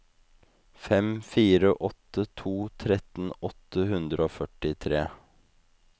fem fire åtte to trettien åtte hundre og førtitre